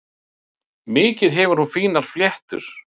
Mikið hefur hún fínar fléttur.